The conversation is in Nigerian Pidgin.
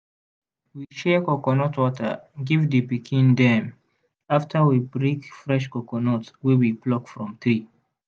we share coconut water give the pikin dem after we break fresh coconut wey we pluck from tree.